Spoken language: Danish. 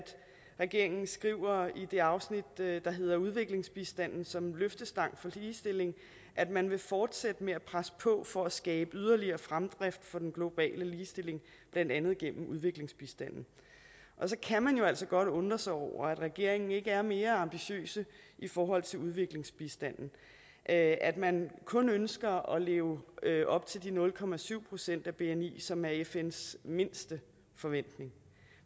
regeringen skriver i det afsnit der hedder udviklingsbistanden som løftestang for ligestilling at man vil fortsætte med at presse på for at skabe yderligere fremdrift for den globale ligestilling blandt andet gennem udviklingsbistanden og så kan man jo altså godt undre sig over at regeringen ikke er mere ambitiøse i forhold til udviklingsbistanden og at at man kun ønsker at leve leve op til de nul procent af bni som er fns mindste forventning